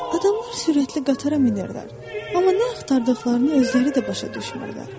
Adamlar sürətli qatara minirlər, amma nə axtardıqlarını özləri də başa düşmürlər.